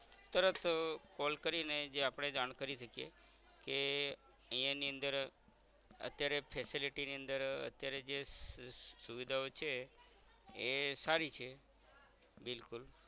તરત call કરીને જે આપણે જાણ કરી સાકીએ કે ઈયા ની અંદર અત્યારે facility ની અંદર અત્યારે જે સુવિધાઓ છે એ સારી છે બિલકુલ